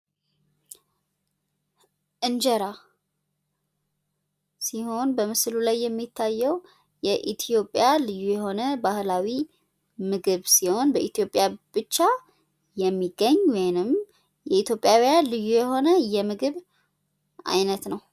እንጀራ ሲሆን በምስሉ ላይ የሚታየው የኢትዮጵያ ልዩ የሆነ ባህላዊ ምግብ ሲሆን በኢትዮጵያ ብቻ የሚገኝ ወይንም የኢትዮጵያውያን ልዩ የሆነ የምግብ አይነት ነው።